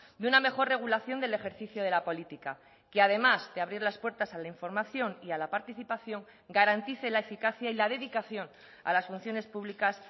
de una mejor regulación del ejercicio de la política que además de abrir las puertas a la información y a la participación garantice la eficacia y la dedicación a las funciones públicas